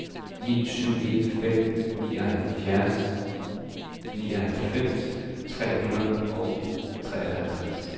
ni syv en fem nioghalvfems tre hundrede og femoghalvtreds